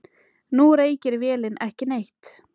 Nú reykir vélin ekki neitt.